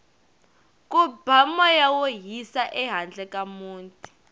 ku ba moya wo hisa ehandle ka muti